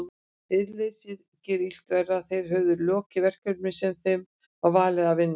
Iðjuleysið gerði illt verra, þeir höfðu lokið verkunum sem þeim var falið að vinna.